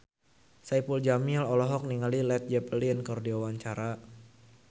Saipul Jamil olohok ningali Led Zeppelin keur diwawancara